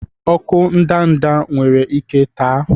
ọkụ ndanda nwere ike taa?